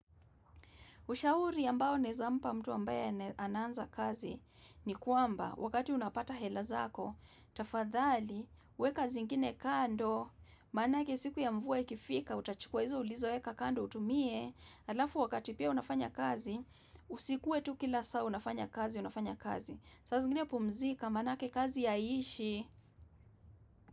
Ushauri ambao naeza mpa mtu ambaya anaanza kazi ni kwamba wakati unapata hela zako, tafadhali, weka zingine kando, manake siku ya mvua ikifika, utachukua hizo ulizoweka kando utumie, alafu wakati pia unafanya kazi, usikuwe tu kila saa unafanya kazi, unafanya kazi. Sasa zingine pumzika manake kazi haiishi.